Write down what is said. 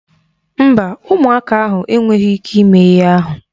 Mba, ụmụaka ahụ enweghị ịke ime ihe ahụ.